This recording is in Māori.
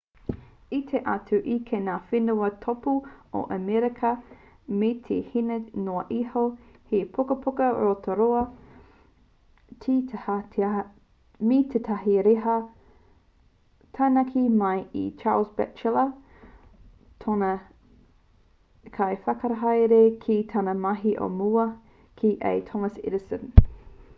i tae atu ia ki ngā whenua tōpū o amerika me te 4 hēneti noa iho he pukapuka rotarota me tētahi reta taunaki mai i charles batchelor tōna kaiwhakahaere ki tāna mahi o mua ki a thomas edison